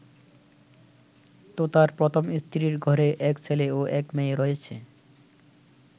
তোতার প্রথম স্ত্রীর ঘরে এক ছেলে ও এক মেয়ে রয়েছে।